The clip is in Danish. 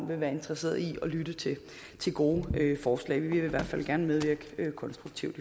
vil være interesseret i at lytte til gode forslag vi vil i hvert fald gerne medvirke konstruktivt